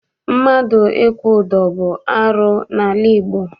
Mmadụ ịkwụ ụdọ bụ arụ n'ala Igbo.